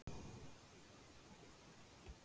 Þið verðið að bíða og sjá.